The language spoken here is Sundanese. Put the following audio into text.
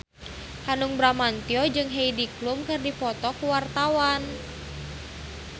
Hanung Bramantyo jeung Heidi Klum keur dipoto ku wartawan